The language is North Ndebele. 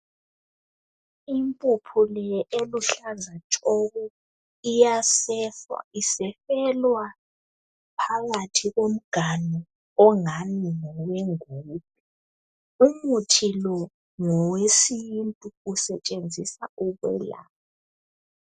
Impuphu le eluhlaza tshoko iyasefwa isefelwa phakathi komganu ongani ngowe ngubhe umuthi lo ngowesintu usetshenziswa ukwelapha.